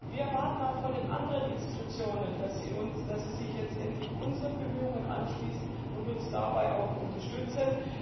Wir erwarten auch von den anderen Institutionen, dass sie sich letztendlich unseren Bemühungen anschließen und uns dabei auch unterstützen.